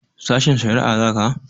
Sashen shari'a za ka?